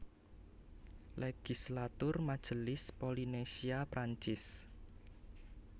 Legislatur Majelis Polinésia Prancis